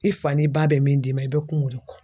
I fa n'i ba bɛ min d'i ma i bɛ kun o de kɔ